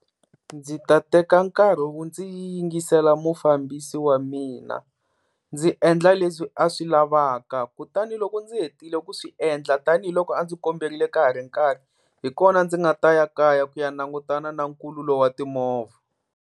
Ndzi ta teka nkarhi wo ndzi yingisela mufambisi wa mina, ndzi endla leswi a swi lavaka kutani loko ndzi hetile ku swi endla tanihiloko a ndzi komberile ka ha ri nkarhi hi kona ndzi nga ta ya kaya ku ya langutana na nkhululo wa timovha.